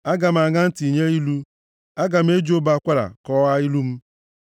Aga m aṅa ntị nye ilu, aga m e ji ụbọ akwara kọwaa ilu m.